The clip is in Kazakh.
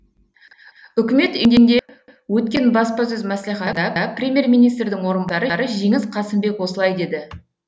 үкімет үйінде өткен баспасөз мәслихатында премьер министрдің орынбасары жеңіс қасымбек осылай деді